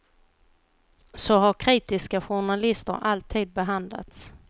Så har kritiska journalister alltid behandlats.